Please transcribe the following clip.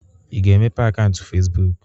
Ị ga-emepe akaụntụ Fezbụk?